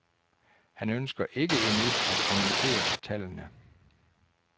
Han ønsker ikke endnu at kommentere tallene.